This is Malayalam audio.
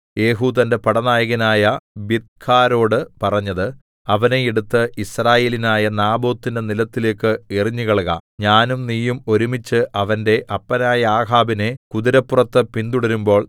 യേഹൂ തന്റെ പടനായകനായ ബിദ്കാരോട് പറഞ്ഞത് അവനെ എടുത്ത് യിസ്രയേല്യനായ നാബോത്തിന്റെ നിലത്തിലേക്ക് എറിഞ്ഞുകളക ഞാനും നീയും ഒരുമിച്ചു അവന്റെ അപ്പനായ ആഹാബിനെ കുതിരപ്പുറത്ത് പിന്തുടരുമ്പോൾ